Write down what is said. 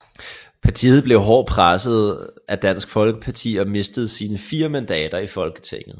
Partiet blev hårdt presset af Dansk Folkeparti og mistede sine fire mandater i Folketinget